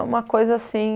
uma coisa assim